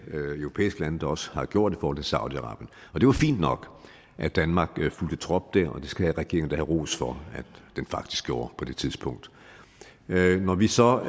europæiske lande der også har gjort mod saudi arabien det var fint nok at danmark fulgte trop der og det skal regeringen da have ros for at den faktisk gjorde på det tidspunkt når vi så